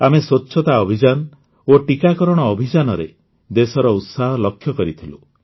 ଆମେ ସ୍ୱଚ୍ଛତା ଅଭିଯାନ ଓ ଟିକାକରଣ ଅଭିଯାନରେ ଦେଶର ଉତ୍ସାହ ଲକ୍ଷ୍ୟ କରିଥିଲୁ